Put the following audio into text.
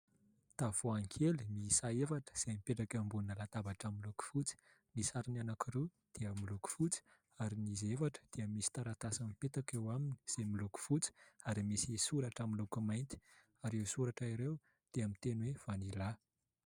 Tavoahangy kely miisa efatra izay mipetraka eo ambony latabatra miloko fotsy, ny sarony anankiroa dia miloko fotsy ary izy efatra dia misy taratasy mipetaka eo aminy izay miloko fotsy, ary misy soratra amin'ny loko mainty ; ary ireo soratra ireo dia misy teny hoe : "Vaniala".